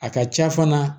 A ka ca fana